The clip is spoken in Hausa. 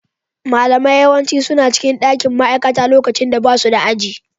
Malamai yawanci suna cikin dakin ma'aikata lokacin da basu da aji.